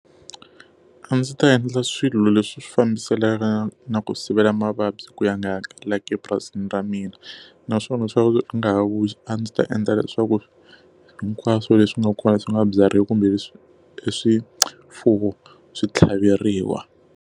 A ndzi ta endla swilo leswi swi fambisanaka na ku sivela mavabyi ku ya nga hangalaki epurasini ra mina. Naswona swa ku nga ha vuyi a ndzi ta endla leswaku hinkwaswo leswi nga kona leswi nga byariwa kumbe e swifuwo swi tlhaveriwa.